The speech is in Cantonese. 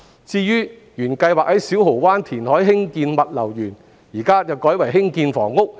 至於原本計劃在小蠔灣填海興建的物流園，有關用地現在改為用於興建房屋。